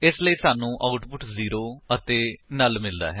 ਇਸ ਲਈ ਸਾਨੂੰ ਆਉਟਪੁਟ 0 ਅਤੇ ਨੁੱਲ ਮਿਲਦਾ ਹੈ